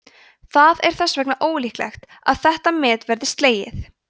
það er þess vegna ólíklegt að þetta met verði slegið